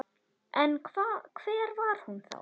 En hver var hún þá?